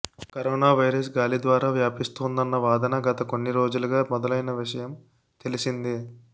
corona virus గాలిద్వారా వ్యాపిస్తోందన్న వాదన గత కొన్నిరోజులుగా మొదలైన విషయం తెలిసిందే